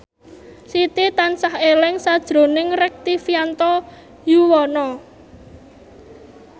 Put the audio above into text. Siti tansah eling sakjroning Rektivianto Yoewono